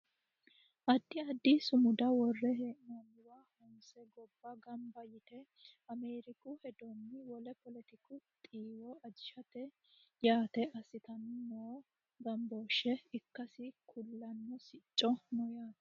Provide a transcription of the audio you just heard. addi addi sumuda worre hee'noonniwa honse gobba ganba yite ameeriku hedonna wole poletiku xiiwo ajishate yite assitanni noo ganbooshshe ikkasi kulanno sicci no yaate